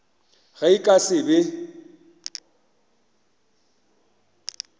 ge e ka se be